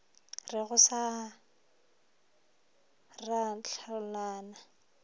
re go sa ra hlolana